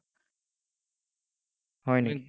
হয় নেকি?